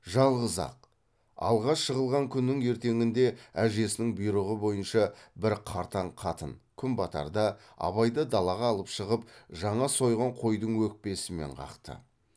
жалғыз ақ алғаш жығылған күннің ертеңінде әжесінің бұйрығы бойынша бір қартаң қатын күн батарда абайды далаға алып шығып жаңа сойған қойдың өкпесімен қақты